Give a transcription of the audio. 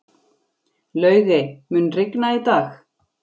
Laugey, mun rigna í dag?